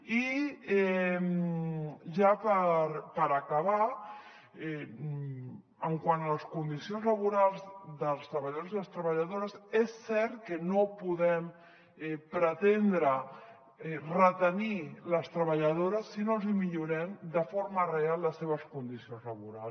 i ja per acabar quant a les condicions laborals dels treballadors i les treballadores és cert que no podem pretendre retenir les treballadores si no els hi millorem de forma real les seves condicions laborals